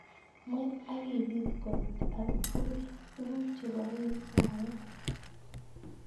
Mwet ak ibit kot ak tuguk cheboen arek.